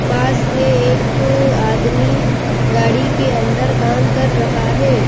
पास में एकअ आदमी गाड़ी के अंदर काम कर रहा है।